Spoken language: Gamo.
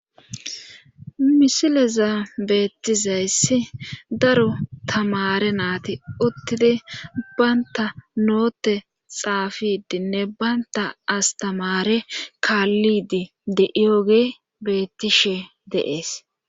misileza beettizayssi daro tamare naati uttidi banta noote xaafidinne baynta astamare kaallidi de7ioge beettishe deees